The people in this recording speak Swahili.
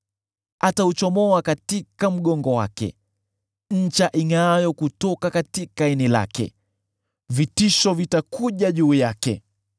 Atauchomoa katika mgongo wake, ncha ingʼaayo kutoka ini lake. Vitisho vitakuja juu yake;